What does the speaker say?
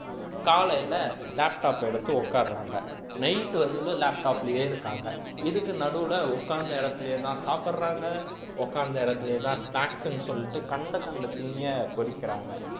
காலையில laptop எடுத்து உட்காருறாங்க night வரையிலும் laptop லயே இருக்காங்க இதுக்கு நடுவுல உட்கார்ந்த இடத்துலயேதான் சாப்பிடுறாங்க உட்கார்ந்த இடத்துலயேதான் snacks ன்னு சொல்லிட்டு கண்ட கண்ட தீணியை கொறிக்கிறாங்க